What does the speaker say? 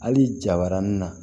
Hali jabarani na